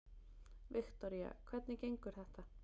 Viktoría: Hvernig gengur þetta?